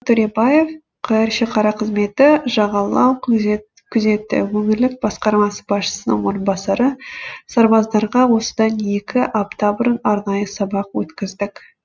төребаев қр шекара қызметі жағалау күзеті өңірлік басқармасы басшысының орынбасары сарбаздарға осыдан екі апта бұрын арнайы сабақ өткіздік